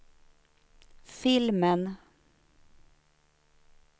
filmen